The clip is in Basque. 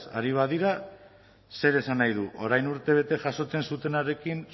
ari badira zer esan nahi du orain urtebete jasotzen zutenarekin